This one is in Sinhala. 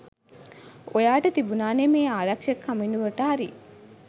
ඔයාට තිබුණානේ මේ ආරක්‍ෂක කමිටුවට හරි